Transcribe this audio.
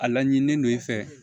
A laɲini ne n'o i fɛ